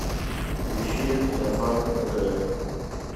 ищи сарафан на тв